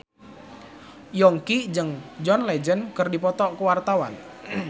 Yongki jeung John Legend keur dipoto ku wartawan